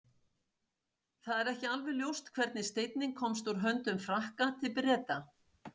Það er ekki alveg ljóst hvernig steinninn komst úr höndum Frakka til Breta.